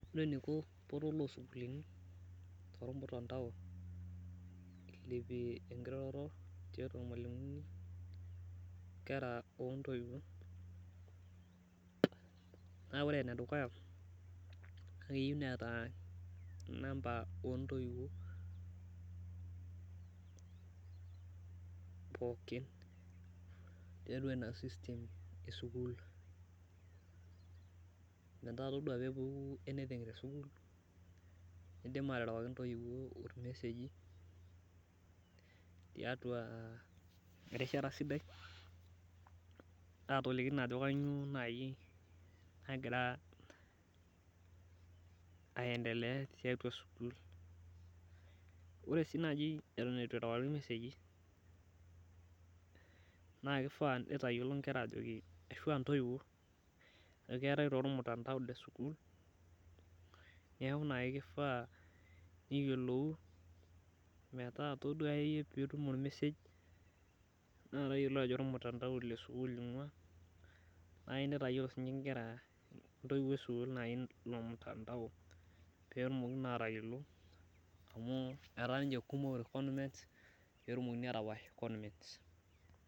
ore eniko portal oo isukuuluni tormutandao ilapie enkiroroto tiatua ilmalimuni, inkera ontoiwuo naa ore enedukuya naa keyieu neeta inamba oo intoiwuo, pooki tiatua ina system esukuul metaa itodua anything tesukuul , nidim aterewaki intoiwuo imeseji tiatua erishata sidai atoliki naa ajo kainyioo nagira aendelea, ore sii naji eton etu erewakini ilmeseji, naa kifaa itayiolo inkera ajo keetae taa olmutantao le sukul ashu intoiwuo, neeku naji kifaa pee iyiolou meeta ore pee elotu olmesej nidol ajo olesukuul amu etaa ninye kumok konmens.